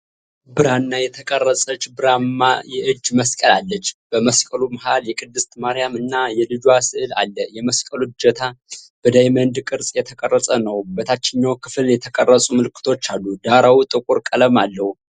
ብራና የተቀረጸች ብርማ የእጅ መስቀል አለች። በመስቀሉ መሃል፣ የቅድስት ማርያም እና የልጇ ሥዕል አለ። የመስቀሉ እጀታ በዳይመንድ ቅርፅ የተቀረጸ ነው። በታችኛው ክፍል የተቀረጹ ምልክቶች አሉ። ዳራው ጥቁር ቀለም አለው።